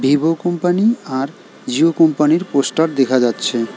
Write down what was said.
Vivo company আর জিও কোম্পানির poster দেখা যাচ্ছে।